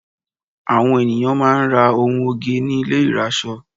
Àwọn ènìyàn máà ń ra ohun oge ní ilé ìrasọ.